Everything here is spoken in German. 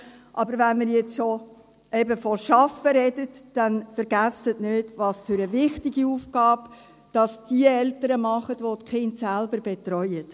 Aber wenn wir jetzt schon vom Arbeiten sprechen, dann vergessen Sie nicht, was für eine wichtige Aufgabe diejenigen Eltern übernehmen, welche die Kinder selbst betreuen.